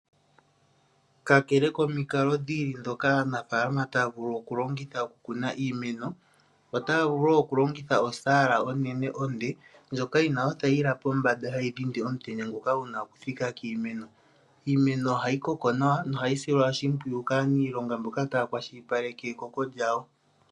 Kakele komikalo dhi ili ndhoka aanafaalama taya vulu okulongitha okukuna iimeno, otaya vulu wo okulongitha osaala onene onde ndjoka yina othayila pombanda hayi dhindi omutenya ngoka guna okuthika kiimeno. Iimeno ohayi koko nawa nohayi silwa oshimpwiyu kaaniilonga mboka taya kwashilipaleke ekoko lyawo.